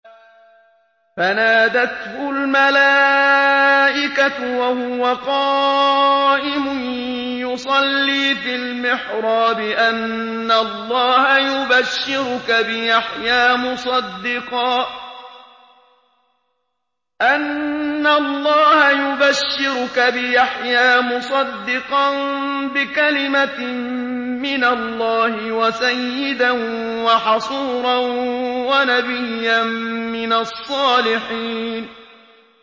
فَنَادَتْهُ الْمَلَائِكَةُ وَهُوَ قَائِمٌ يُصَلِّي فِي الْمِحْرَابِ أَنَّ اللَّهَ يُبَشِّرُكَ بِيَحْيَىٰ مُصَدِّقًا بِكَلِمَةٍ مِّنَ اللَّهِ وَسَيِّدًا وَحَصُورًا وَنَبِيًّا مِّنَ الصَّالِحِينَ